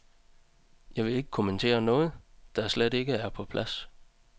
Jeg vil ikke kommentere noget, der slet ikke er på plads.